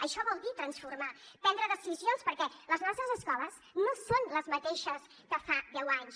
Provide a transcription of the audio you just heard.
això vol dir transformar prendre decisions perquè les nostres escoles no són les mateixes que fa deu anys